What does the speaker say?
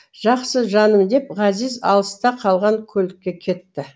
жақсы жаным деп ғазиз алыста қалған көлікке кетті